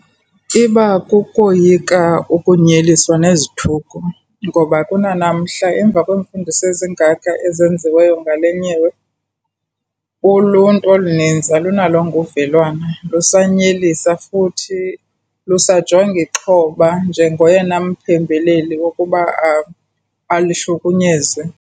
Iba kukoyika ukunyeliswa nezithuko ngoba kunanamhla emva kweemfundiso ezingaka ezenziweyo ngale nyewe, uluntu oluninzi alunalongo uvelwano lusanyelisa. Futhi lusajonga ixhoba njengoyena mphembeleli wokuba lihlukunyezwe.